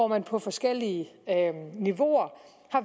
man på forskellige niveauer